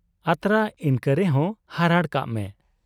ᱟᱛᱨᱟ ᱤᱱᱠᱟᱹ ᱨᱮᱦᱚᱸ ᱦᱟᱨᱟᱲ ᱠᱟᱜ ᱢᱮ ᱾